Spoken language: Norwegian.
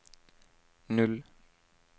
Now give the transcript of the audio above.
null